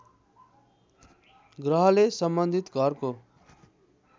ग्रहले सम्बन्धित घरको